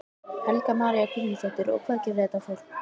Helga María Guðmundsdóttir: Og hvað gerir þetta fólk?